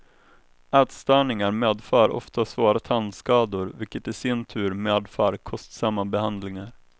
Ätstörningar medför ofta svåra tandskador, vilket i sin tur medför kostsamma behandlingar.